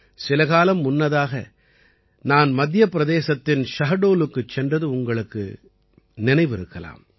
சில காலம் முன்னதாக நான் மத்திய பிரதேசத்தின் ஷஹடோலுக்குச் சென்றது உங்களுக்கு நினைவிருக்கலாம்